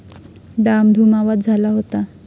डाम धूम आवाज झाला होता.